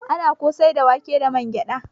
Ana kosai da wake da wangyada.